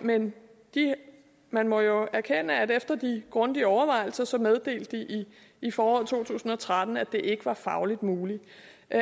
men man må jo erkende at de efter de grundige overvejelser så i foråret to tusind og tretten meddelte at det ikke var fagligt muligt